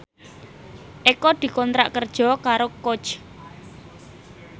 Eko dikontrak kerja karo Coach